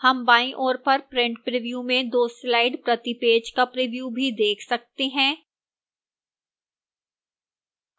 हम बाईं ओर पर print preview में दो slides प्रति पेज का प्रिव्यू भी देख सकते हैं